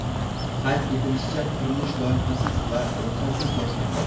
Qayd etilishicha, qurilish loyihasiz va ruxsatsiz boshlangan.